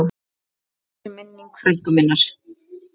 Blessuð sé minning frænku minnar.